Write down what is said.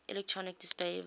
electronic display device